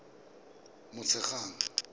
motshegang